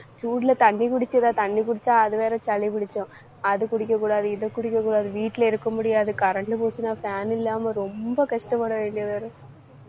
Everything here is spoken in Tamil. சூடுல தண்ணி குடிக்கிற தண்ணி குடிச்சா அது வேற சளி பிடிச்சோம். அது குடிக்கக் கூடாது இதை குடிக்கக் கூடாது வீட்டுல இருக்க முடியாது current போச்சுன்னா fan இல்லாம ரொம்ப கஷ்டப்பட வேண்டியதா இருக்கு.